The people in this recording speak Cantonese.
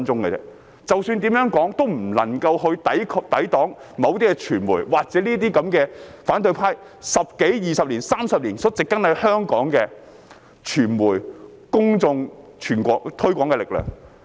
無論我們怎樣說，也無法抵擋某些傳媒，或是那些反對派在十多二十年，甚至是30年間，植根在香港的傳媒、公眾的推廣力量。